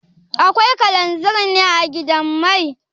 Akwai kalanzir ne a gidan mai?